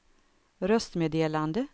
röstmeddelande